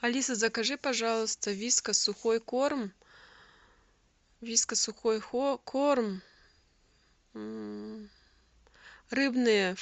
алиса закажи пожалуйста вискас сухой корм вискас сухой корм рыбное